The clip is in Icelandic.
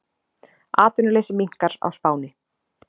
Atvinnuleysi minnkar á Spáni